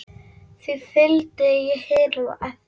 Því fylgdi ég hinum eftir.